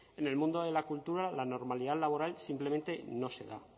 en el mundo de la cultura la normalidad laboral simplemente no se da